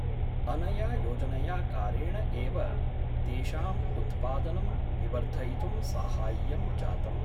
अनया योजनया कारेण एव तेषाम् उत्पादनं विवर्धयितुं साहाय्यं जातम्।